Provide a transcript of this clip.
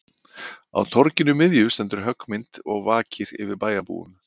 Á torginu miðju stendur höggmynd og vakir yfir bæjarbúum